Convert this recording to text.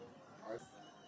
Xoş gəldin.